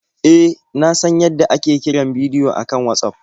E, na san yadda ake kiran bidiyo a kan Watsaf.